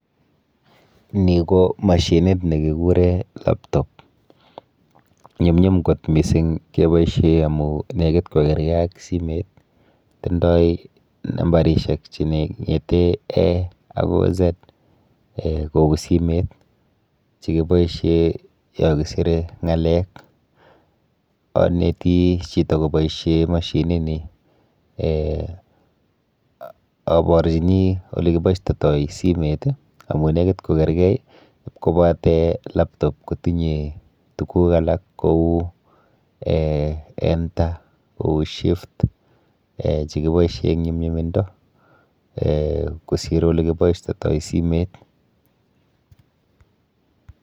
Ni ko mashinit nekikure laptop. Nyumnyum kot mising keboishe amu nekit kokerke ak simet. Tindoi nambarishek cheng'ete a akoi z um kou simet, chekiboishe yokisire ng'alek. Aneti chito koboishe mashinini um aborchini olekiboistoitoi simet, amu nekit kokergei ipkobate laptop kotinye tuguk alak kou [um]enter kou shift um chekiboishe eng nyumnyumindo kosir olekiboistotoi simet.